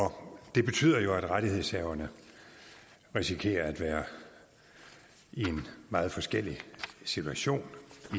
det betyder jo at rettighedshaverne risikerer at være i en meget forskellig situation